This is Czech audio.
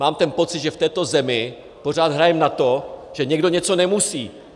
Mám ten pocit, že v této zemi pořád hrajeme na to, že někdo něco nemusí.